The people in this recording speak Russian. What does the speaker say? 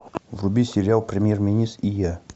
вруби сериал премьер министр и я